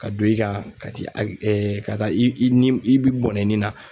Ka don i ka ka t'i a ka taa i i nin i bɔnen i nin na.